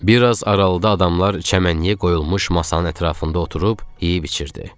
Bir az aralıda adamlar çəmənliyə qoyulmuş masanın ətrafında oturub yeyib içirdi.